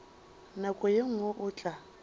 nako ye nngwe o tla